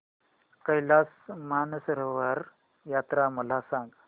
कैलास मानसरोवर यात्रा मला सांग